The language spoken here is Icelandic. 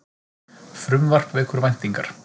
Frumvarp vekur væntingar